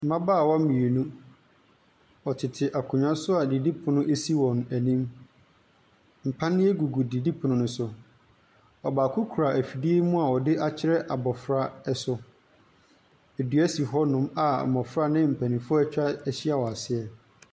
Mbabaawa mienu, wɔtete akonwa so a didi pono esi wɔn enim. Mpaneɛ gugu didi pono ne so. Ɔbaako kura efidie mu a wɔde akyerɛ abɔfra ɛso. Edua si hɔ nom a mbɔfra ne mpanimfo etwa ehyia aseɛ.